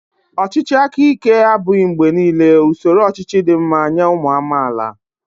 Ọchịchị aka ike abụghị mgbe niile usoro ọchịchị dị mma nye ụmụ amaala